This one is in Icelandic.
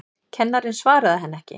Kennarinn svaraði henni ekki.